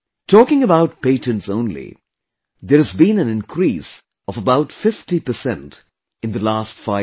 Talking about patents only, there has been an increase of about 50 percent in the last five years